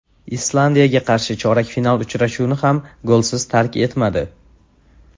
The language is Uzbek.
Islandiyaga qarshi chorak final uchrashuvini ham golsiz tark etmadi.